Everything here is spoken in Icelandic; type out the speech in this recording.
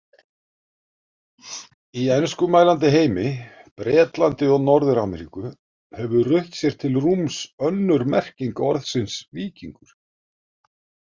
Í enskumælandi heimi, Bretlandi og Norður-Ameríku, hefur rutt sér til rúms önnur merking orðsins víkingur.